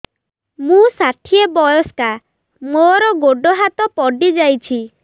ମୁଁ ଷାଠିଏ ବୟସ୍କା ମୋର ଗୋଡ ହାତ ପଡିଯାଇଛି